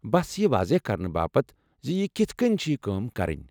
بس یہ واضح كرنہٕ باپت زِ یہِ کِتھہٕ کٔنۍ چھ یہِ کٲم کرٕنۍ ۔